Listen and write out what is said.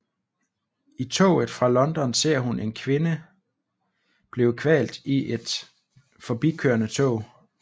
I toget fra London ser hun en kvinde blive kvalt i et forbikørende tog